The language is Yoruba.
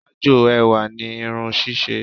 Ájò ẹwà ni irun ṣíṣe